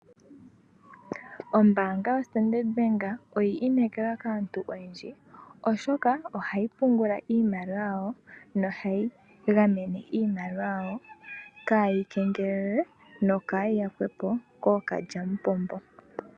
Ombaanga yoStandard Bank oya inekelwa kaantu oyendji oshoka ohayi pungula iimaliwa yawo yo ohayi gamene iimaliwa yawo kaayi kengelelwe nokaayi yakwepo kookalyamupombo.